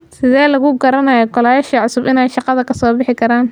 Sidhey laku karanaya golayasha cusub inay shaqada kasobixikaran.